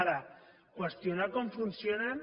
ara qüestionar com funcionen